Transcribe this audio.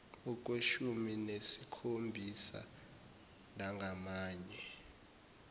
okweshumi nesikhombisa nangamanye